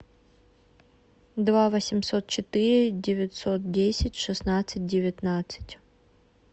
два восемьсот четыре девятьсот десять шестнадцать девятнадцать